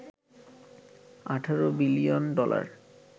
১৮ billion dollar